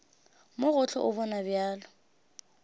mo gohle o bonwa bjalo